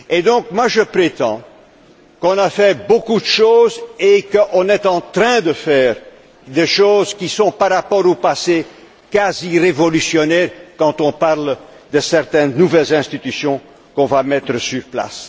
Donc, j'affirme qu'on a fait beaucoup de choses et qu'on est en train de faire des choses qui sont, par rapport au passé, quasi révolutionnaires quand on parle de certaines nouvelles institutions qu'on va mettre en place.